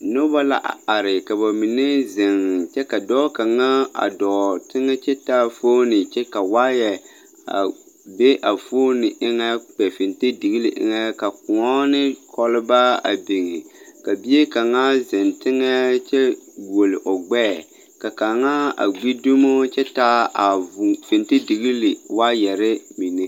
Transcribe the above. Noba a are kyɛ ka ba mine zeŋ kyɛ ka dɔɔ kaŋa a dɔɔ teŋɛ kyɛ taa fooni kyɛ ka waayɛ a be a fooni eŋɛ kpɛ fentedigli eŋɛ ka kõɔ ne kɔlbaa a biŋi ka bie kaŋa zeŋ teŋɛ kyɛ guoli o gbɛɛ ka kaŋa a gbi dumo kyɛ taa vu fentedigli waayɛre mine.